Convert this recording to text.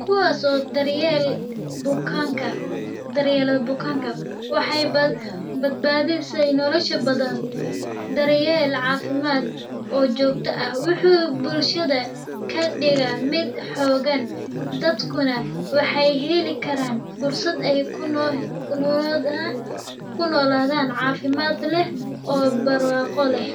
kuwaas oo dar yeela bukaanka wuxuu bulshada kadigaa mid xoogan dadka waxeey heli karaan fursad aay kunoladan oo barwaaqo leh.